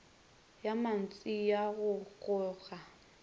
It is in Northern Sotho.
ya mantšu ya go goga